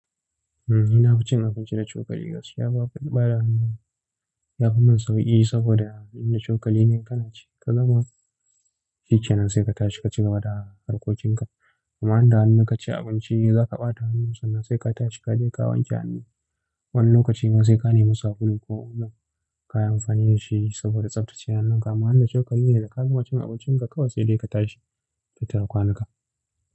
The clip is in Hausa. Eh, ni na fi cin abinci da cokali. Gaskiya babu, baya hannu yafi mun sauƙi saboda idan da cokali ne kana ci da kagama shikenan sai ka tashi ka ci gaba da harkokin ka. Amma idan da hannu kaci abinci za ka ɓata hannun sannan sai ka tashi ka je ka wanke hannu. Wani lokaci ma sai ka nemi sabulu ko omo kayi amfani da shi saboda tsaftace hannun ka. Amma idan da cokali ne da ka gama cin abincin ka kawai sai dai ka tashi ka tafi ka kwanta.